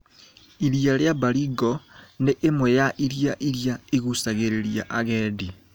Iria rĩa Baringo nĩ ĩmwe ya iria iria igucagĩrĩria agendi.